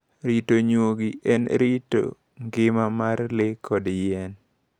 Rito nyuogi en rito ngima mar le koda yien.